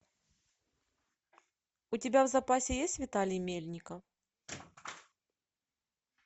у тебя в запасе есть виталий мельников